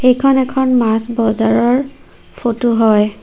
এইখন এখন মাছ বজাৰৰ ফটো হয়।